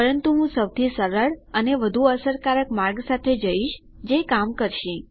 પરંતુ હું સૌથી સરળ અને વધુ અસરકારક માર્ગ સાથે જઈશ જે કામ કરશે